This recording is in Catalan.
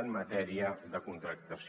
en matèria de contractació